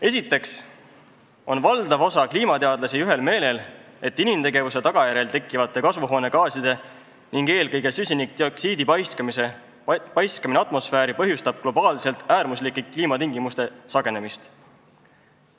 Esiteks on valdav osa kliimateadlasi ühel meelel, et inimtegevuse tagajärjel tekkivate kasvuhoonegaaside ning eelkõige süsinikdioksiidi paiskamine atmosfääri põhjustab globaalselt äärmuslike kliimatingimuste sagenemist.